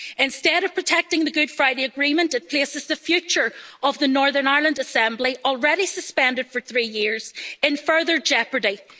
Instead of protecting the Good Friday Agreement, it places the future of the Northern Ireland Assembly already suspended for three years in further jeopardy.